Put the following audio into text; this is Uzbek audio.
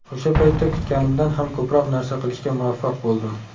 O‘sha paytda kutganimdan ham ko‘proq narsa qilishga muvaffaq bo‘ldim.